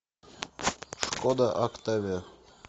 шкода октавия